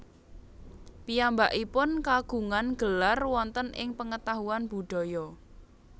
Piyambakipun kagungan gelar wonten ing pengetahuan budaya